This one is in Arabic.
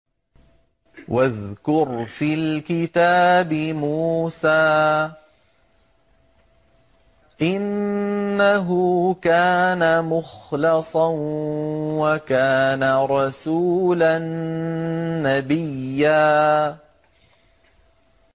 وَاذْكُرْ فِي الْكِتَابِ مُوسَىٰ ۚ إِنَّهُ كَانَ مُخْلَصًا وَكَانَ رَسُولًا نَّبِيًّا